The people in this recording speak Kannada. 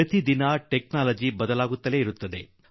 ಪ್ರತಿದಿನ ತಂತ್ರಜ್ಞಾನ ಬದಲಾಗುತ್ತದೆ